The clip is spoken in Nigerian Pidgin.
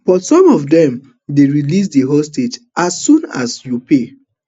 but some of dem dey release di hostages as soon as you pay